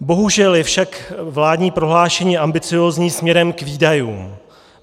Bohužel je však vládní prohlášení ambiciózní směrem k výdajům.